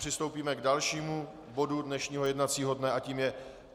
Přistoupíme k dalšímu bodu dnešního jednacího dne a tím je